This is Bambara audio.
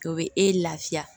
O bɛ e lafiya